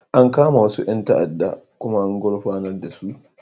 An kama wasu 'yan ta'addan kuma an gurfanar su.